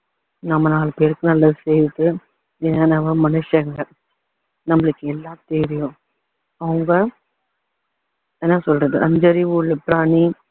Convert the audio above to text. நம்ம நாலு பேருக்கு நல்லது செய்துட்டு எல்லாம் மனுஷங்க நம்மளுக்கு எல்லா தெரியும் அவங்க என்ன சொல்றது அஞ்சு அறிவு உள்ள பிராணி